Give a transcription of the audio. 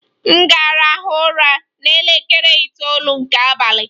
M ga-arahụ ụra n'elekere itoolu nke abalị.